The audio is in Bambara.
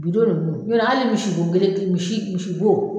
Bidon nunnu mira hali misi bo kelen te misi misi bo